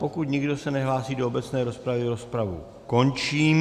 Pokud se nikdo nehlásí do obecné rozpravy, rozpravu končím.